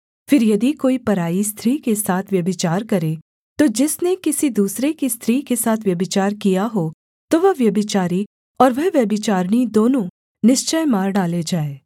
फिर यदि कोई पराई स्त्री के साथ व्यभिचार करे तो जिसने किसी दूसरे की स्त्री के साथ व्यभिचार किया हो तो वह व्यभिचारी और वह व्यभिचारिणी दोनों निश्चय मार डालें जाएँ